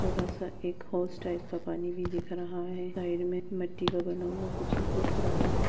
छोटा सा एक टाइप का पानी भी दिख रहा है साइड मे मिट्ठी का बना हुआ कुछ दिख रहा है।